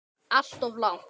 Alltof langt.